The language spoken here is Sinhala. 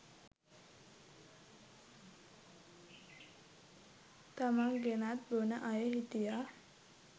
තමන් ගෙනත් බොන අය හිටියා